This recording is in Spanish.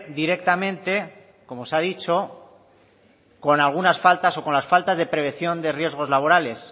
directamente como se ha dicho con algunas faltas o con las faltas de prevención de riesgos laborales